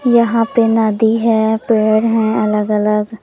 यहां पे नदी है पेड़ हैं अलग अलग।